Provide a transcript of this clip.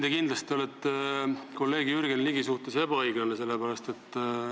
Te kindlasti olete kolleeg Jürgen Ligi suhtes ebaõiglane.